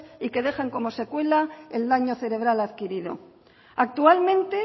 y que dejan como secuela el daño cerebral adquirido actualmente